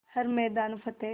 हर मैदान फ़तेह